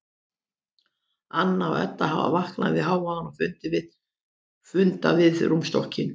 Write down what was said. Anna og Edda hafa vaknað við hávaðann og funda við rúmstokkinn.